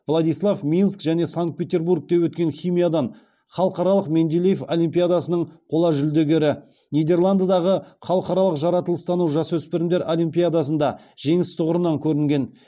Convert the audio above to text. владислав минск және санкт петербургте өткен химиядан халықаралық менделеев олимпиадасының қола жүлдегері нидерландыдағы халықаралық жаратылыстану жасөспірімдер олимпиадасында жеңіс тұғырынан көрінген